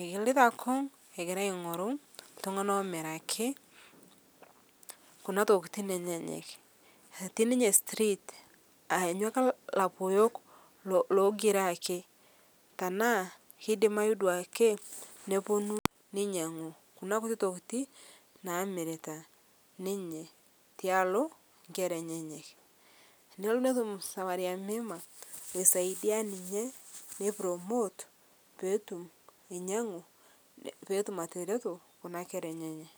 egilita kung' egira aing'uru ltung'ana emiraki kuna tokitin enyeyek eti street aanyu ake lapuyok logira akee tanaa keidimayu duake neponu neinyang'u kuna kutii tokitii namiritaa ninye tealo nkera enyeyek tenelo netum samaria mwema loisaidia ninye nei promote peetum ainyeng'u peetum atereto kuna kera enyenaa.